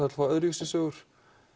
öðruvísi sögur